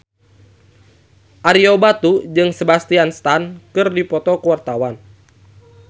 Ario Batu jeung Sebastian Stan keur dipoto ku wartawan